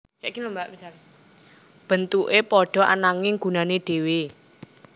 Bentuke padha ananging gunane dhewe